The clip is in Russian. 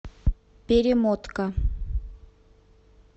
перемотка